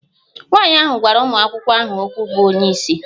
Nwanyị ahụ gwara ụmụ akwụkwọ ahụ okwu bụ onye isi